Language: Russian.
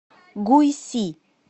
гуйси